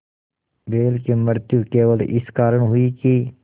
बैल की मृत्यु केवल इस कारण हुई कि